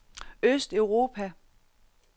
østeuropa